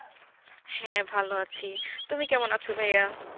হ্যাঁ ভালো আছি তুমি কেমন আছো ভাইয়া